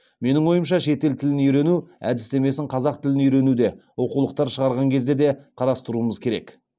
менің ойымша шетел тілін үйрену әдістемесін қазақ тілін үйренуде оқулықтар шығарған кезде де қарастыруымыз керек